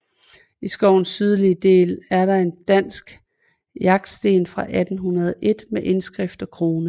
I skovens sydlige del er der en dansk jagtsten fra 1801 med indskrift og krone